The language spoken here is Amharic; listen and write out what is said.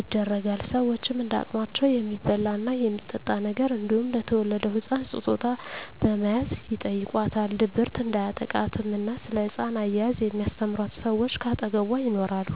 ይደረጋል። ሸወችም እንደ አቅማቸው የሚበላ እና የሚጠጣ ነገር እንዲሁም ለተወለደዉ ህፃን ስጦታ በመያዝ ይጨይቋታል። ድብርት እንዲያጠቃትም እና ስለ ህፃን አያያዝ የሚስተምሯት ሰወች ከአጠገቧ ይኖራሉ።